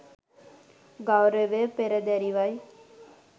ගෞරවය පෙරදැරිවයි.